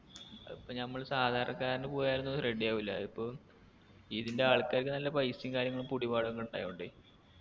അപ്പൊ നമ്മള് സാധാരണക്കാരന് പോയാലൊന്നും ready ആവൂല അതിപ്പൊ ഇതിൻറെ ആൾക്കാരിക്ക് നല്ല പൈസയും കാര്യങ്ങളും പുടിപാടൊക്കെ ഇണ്ടായൊണ്ടേ